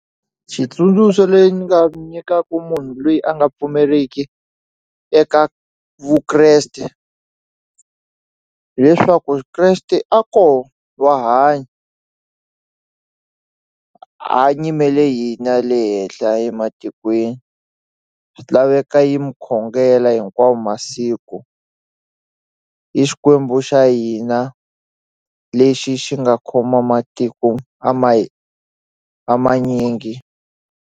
Xitsundzuxo le ndzi nga nyikaku munhu lweyi a nga pfumeriki eka Vukreste hileswaku Kreste a kona wa hanya a nyimele hina le henhla ematikweni swi laveka yi mu khongela hinkwawo masiko i Xikwembu xa hina lexi xi nga khoma matiko a a manyingi.